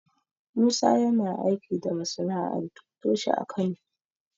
Musa yana aiki da masana'antu toshe a Kano.